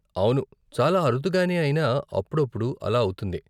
అవును, చాలా అరుదుగానే అయినా అప్పుడప్పుడు అలా అవుతుంది.